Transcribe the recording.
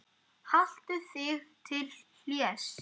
Haltu þig til hlés.